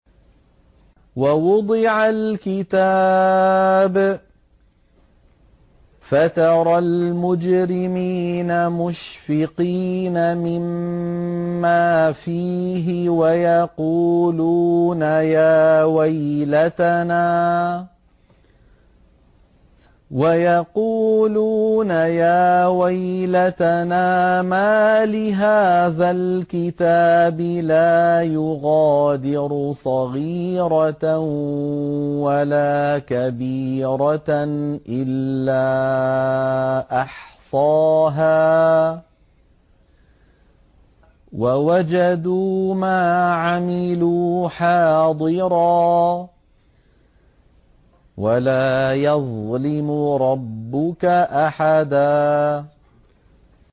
وَوُضِعَ الْكِتَابُ فَتَرَى الْمُجْرِمِينَ مُشْفِقِينَ مِمَّا فِيهِ وَيَقُولُونَ يَا وَيْلَتَنَا مَالِ هَٰذَا الْكِتَابِ لَا يُغَادِرُ صَغِيرَةً وَلَا كَبِيرَةً إِلَّا أَحْصَاهَا ۚ وَوَجَدُوا مَا عَمِلُوا حَاضِرًا ۗ وَلَا يَظْلِمُ رَبُّكَ أَحَدًا